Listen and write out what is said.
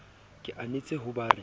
ke anetse ho ba re